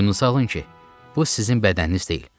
Boynunuzu salın ki, bu sizin bədəniniz deyil.